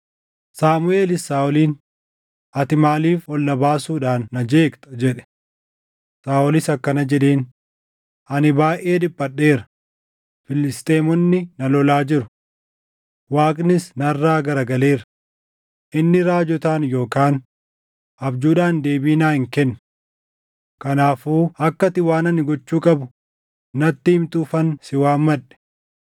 Saamuʼeelis Saaʼoliin, “Ati maaliif ol na baasuudhaan na jeeqxa?” jedhe. Saaʼolis akkana jedheen, “Ani baayʼee dhiphadheera; Filisxeemonni na lolaa jiru; Waaqnis narraa garagaleera. Inni raajotaan yookaan abjuudhaan deebii naa hin kennu. Kanaafuu akka ati waan ani gochuu qabu natti himtuufan si waammadhe.”